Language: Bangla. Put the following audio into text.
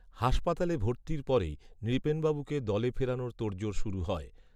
হাসপাতালে ভর্তির পরেই নৃপেনবাবুকে দলে ফেরানোর তোড়জোড় শুরু হয়